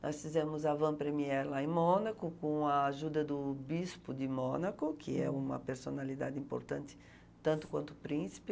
Nós fizemos a van premier lá em Mônaco, com a ajuda do bispo de Mônaco, que é uma personalidade importante, tanto quanto o príncipe.